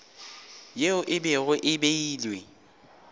yeo e bego e beilwe